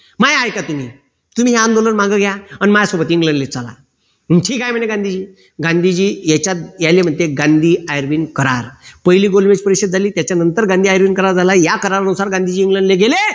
माय ऐका तुम्ही तुम्ही आंदोलन माघे घ्या न माझ्यासोबत इंग्लंडले चला ठीक आहे म्हणे गांधीजी गांधीजी याच्यात गांधी करार पहिली गोलबेज परिषद झाली त्याच्यानंतर गांधी करार झाला या करारानुसार गांधीजी इंग्लंडला गेले